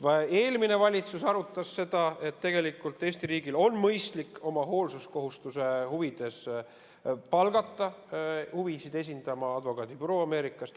Eelmine valitsus arutas seda, et tegelikult Eesti riigil on mõistlik oma hoolsuskohustuse täitmise huvides palgata oma huvisid esindama advokaadibüroo Ameerikast.